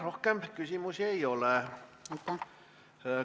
Rohkem küsimusi ei ole.